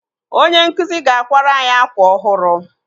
Onye nkụzi ga-akwara anyị akwa ọhụrụ.